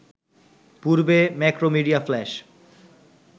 পূর্বে Macromedia flash